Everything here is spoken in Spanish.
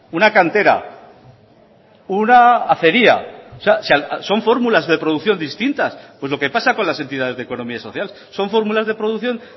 una cantera una acería o sea son fórmulas de producción distintas pues lo que pasa con las entidades de economía social son fórmulas de producción